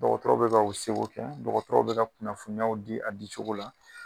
Dɔgɔtɔrɔw bɛ ka u seko kɛ dɔgɔtɔrɔw bɛ ka kunnafoniyaw di a di cogo la